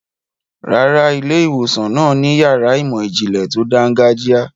Rárá, ilé-ìwòsàn náà ni yàrá ìmọ̀-ìjìnlẹ̀ tó dáńgájíá.